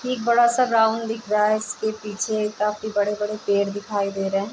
यह एक बड़ा सा ग्राउंड दिख रहा है । उसके पीछे एक काफी बड़े बड़े पेड़ दिखाई दे रहे हैं ।